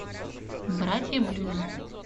братья блюз